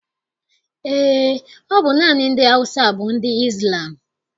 Eé, ọ bụ naanị ndị Awụsa bụ ndị Izlam.